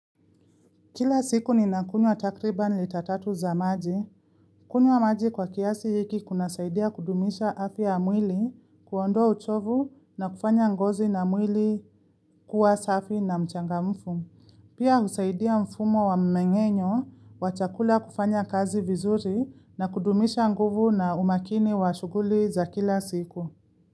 Kila siku ninakunywa takriban lita tatu za maji. Kunywa maji kwa kiasi hiki kunasaidia kudumisha afya ya mwili kuondoa uchovu na kufanya ngozi na mwili kuwa safi na mchangamfu. Pia husaidia mfumo wa mmeng'enyo wa chakula kufanya kazi vizuri na kudumisha nguvu na umakini wa shughuli za kila siku.